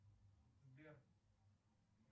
сбер